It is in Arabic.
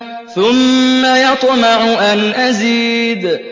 ثُمَّ يَطْمَعُ أَنْ أَزِيدَ